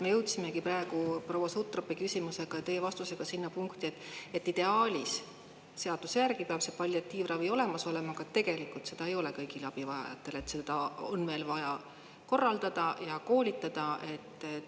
Me jõudsimegi praegu proua Sutropi küsimusega teie vastusega sinna punkti, et ideaalis seaduse järgi peab see palliatiivravi olemas olema, aga tegelikult seda ei ole kõigile abivajajatele, et seda on veel vaja korraldada ja koolitada.